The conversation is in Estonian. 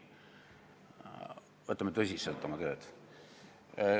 Võtame oma tööd tõsiselt!